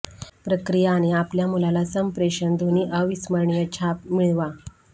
प्रक्रिया आणि आपल्या मुलाला संप्रेषण दोन्ही अविस्मरणीय छाप मिळवा